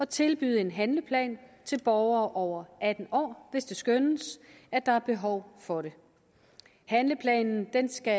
tilbyde en handleplan til borgere over atten år hvis det skønnes at der er behov for det handleplanen skal